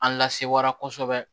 An lasewara kosɛbɛ